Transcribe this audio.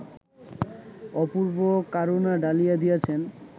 অপূর্ব্ব কারুণা ঢালিয়া দিয়াছেন